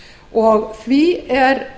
og það er